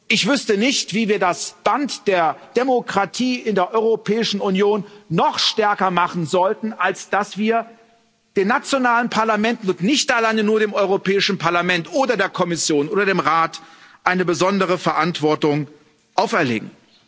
Ich wüsste nicht, wie wir das Band der Demokratie in der Europäischen Union noch stärker machen sollten, als dass wir den nationalen Parlamenten und nicht alleine nur dem Europäischen Parlament oder der Kommission oder dem Rat eine besondere Verantwortung auferlegen.